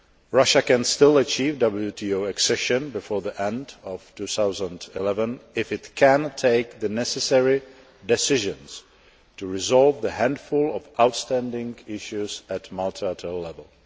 Russia can still achieve WTO accession before the end of 2011 if it can take the necessary decisions to resolve the handful of outstanding issues at multilateral level.